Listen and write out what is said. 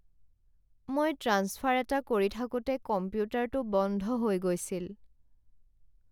মই ট্ৰেন্সফাৰ এটা কৰি থাকোঁতে কম্পিউটাৰটো বন্ধ হৈ গৈছিল।